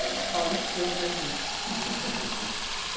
Legal. Paulistana da gema. Paulistana da gema.